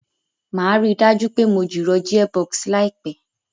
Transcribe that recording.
Màá ríi dájú pé mo jìrọ̀ gearbox láìpẹ̀